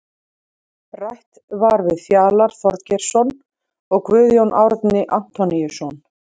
Rætt var við Fjalar Þorgeirsson og Guðjón Árni Antoníusson.